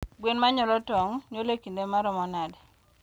Gwen manyuolo tong , nyulo e kinde maromo nade?